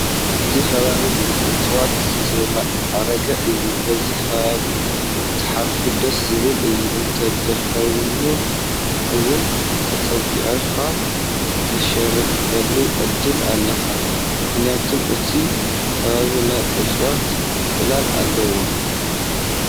እዚ ከባቢ ብእፅዋት ዝማዕረገ እዩ፡፡ በዚ ከባቢ ክትሓልፍ ደስ ዝብል እዩ፡፡ እንተደኺሙካ እውን ተፀጊዕኻ ተዕርፈሉ ዕድል ኣለካ፡፡ ምኽንያቱም እቲ ከባቢ ናይ እፅዋት ፅላል ኣለዎ፡፡